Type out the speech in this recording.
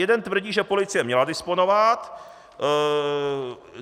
Jeden tvrdí, že policie měla disponovat.